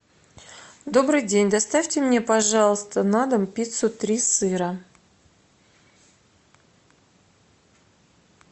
добрый день доставьте мне пожалуйста на дом пиццу три сыра